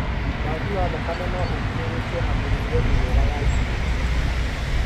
Wagi wa thakame no ũrigĩrĩrio nĩ mĩrĩre mĩega ya irio